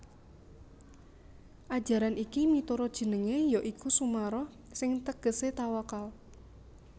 Ajaran iki miturut jenengé ya iku Sumarah sing tegesé tawakal